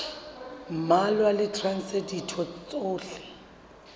mmalwa le traste ditho tsohle